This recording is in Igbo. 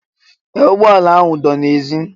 Ee! Ụgbọala ahụ dọ n'èzí